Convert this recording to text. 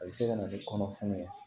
A bɛ se ka na ni kɔnɔ fununan